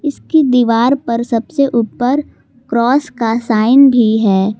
उसकी दीवार पर सबसे ऊपर क्रॉस का साइन भी है।